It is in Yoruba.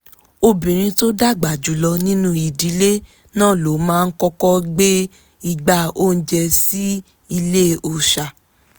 obìnrin tó dàgbà jùlọ nínú ìdílé náà ló máa kọ́kọ́ gbé igbá oúnjẹ sí ile òòṣà